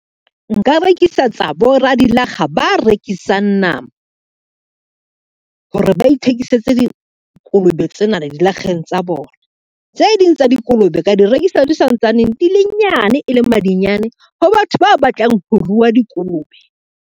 Nka rekisetsa boradilakga ba rekisang nama, hore ba ithekisetse dikolobe tsena le dilakgeng tsa bona. Tse ding tsa dikolobe ka di rekisa di santsane di le nyane e le madinyane ho batho ba batlang ho rua dikolobe.